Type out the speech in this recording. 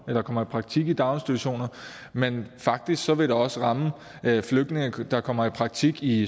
eller kommer i praktik i daginstitutioner men faktisk vil det også ramme flygtninge der kommer i praktik i